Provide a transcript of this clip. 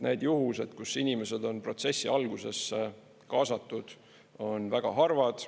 Need juhused, kus inimesed on protsessi alguses kaasatud, on väga harvad.